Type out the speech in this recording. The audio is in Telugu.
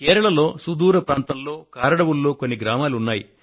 కేరళలో సుదూర ప్రాంతంలో కారడవుల్లో కొన్ని గ్రామాలు ఉన్నాయి